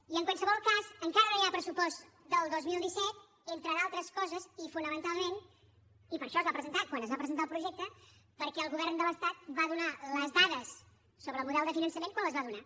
i en qualsevol cas encara no hi ha pressupost del dos mil disset entre d’altres coses i fonamentalment i per això es va presentar quan es va presentar el projecte perquè el govern de l’estat va donar les dades sobre el model de finançament quan les va donar